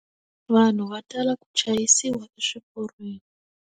Vanhu va tala ku chayisiwa eswiporweni.